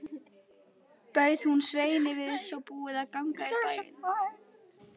Bauð hún Sveini við svo búið að ganga í bæinn.